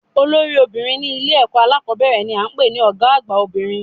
Olórí obìnrin ní Ilé èkó alákòbéèrè ni à ń pè ní Ògá àgbà obìnrin